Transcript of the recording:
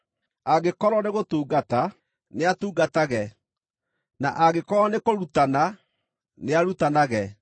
Angĩkorwo nĩ gũtungata, nĩatungatage; na angĩkorwo nĩ kũrutana, nĩarutanage;